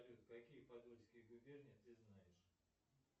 салют какие подольские губернии ты знаешь